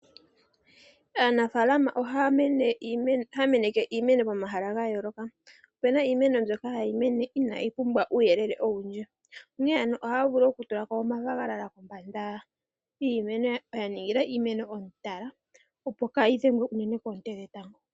Aanafaalama ohaya meneke iimeno yawo momahala ga yooloka. opena iimeno mbyoka hayi mene inayi pumbwa uuyelele owundji onkene ano ohaya vulu oku tulako oonayilona kombanda yiimeno ya ningila iimeno omutala opo kayi dhengwe unene koonte dhe tango.